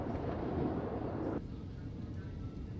Təbiət belədir ki, bəzən ildırımlar vurur.